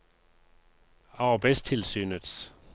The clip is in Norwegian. arbeidstilsynets